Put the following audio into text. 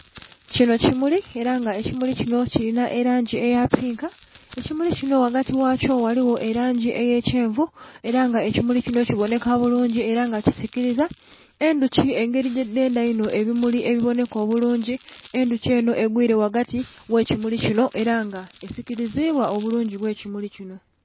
Kinho kimuli era nga ekimuli kinho kilinha elangi eya pinka, ekimuli kinho ghagati ghakyo ghaligho elangi eya kyenvu era nga ekimuli kinho ki bonheka bulungi era nga kisikiliza. Endhuki engeri yedhendha inho ebimuli ebibonheka obulungi endhuki enho egwire ghagati ghe kimuli kinho era nga esikilizibwa obulungi bwe kimuli kinho.